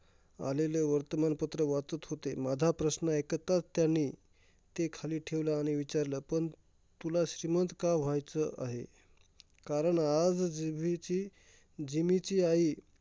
आलेले वर्तमानपत्र वाचत होते. माझा प्रश्न ऐकताच त्यानी ते खाली ठेवले आणि विचारलं, पण तुला श्रीमंत का व्हायचं आहे? कारण आज जीभीची जिमीची आई